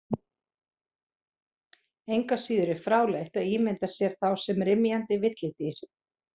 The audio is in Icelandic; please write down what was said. Engu að síður er fráleitt að ímynda sér þá sem rymjandi villidýr.